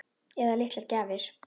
Eða litlar gjafir.